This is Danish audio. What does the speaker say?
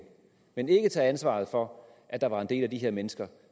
men ikke tage ansvaret for at der var en del af de her mennesker